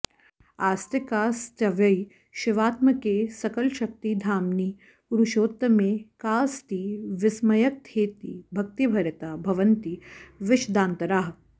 आस्तिकास्त्वयि शिवात्मके सकलशक्तिधाम्नि पुरुषोत्तमे काऽस्ति विस्मयकथेति भक्तिभरिता भवन्ति विशदान्तराः